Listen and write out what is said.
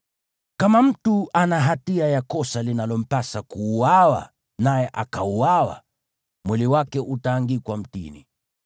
Kama mtu ana hatia ya kosa linalompasa kuuawa naye akauawa, mwili wake utaangikwa mtini,